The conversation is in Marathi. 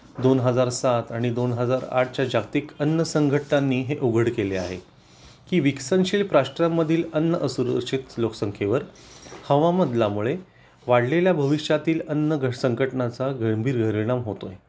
दोन हजार साथ आणि दोन हजार आठ च्या जागतिक अन्न संघटनांनी हे उघड केले आहे की विकसनशील राष्ट्रांमधील अन्न असुरक्षित लोकसंख्येवर हवामान बदलामुळे वाढलेल्या भविष्यातील अन्न संघटनाचा गंभीर परिणाम होतो